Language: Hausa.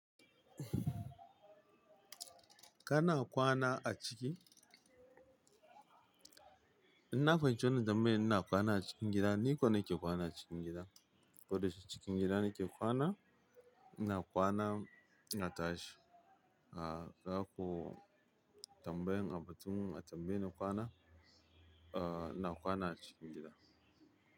Kana kwana a ciki? Ina fahimci wannan tanbayar ina kwana a cikin gida, ni kwanake kwana a cikin gida. Koda cikin gida nake kwana, ina kwana na tashi. Ga ga ko tambayan abin da kuma na tambaye na kwana, ooo ina kwana a cikin gida.